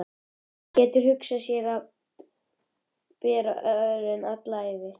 Hann getur hugsað sér að bera örin alla ævi.